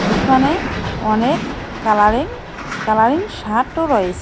দোকানে অনেক colouring colouring শার্টও রয়েস--।